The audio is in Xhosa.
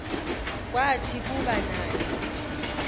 kwathi kuba naye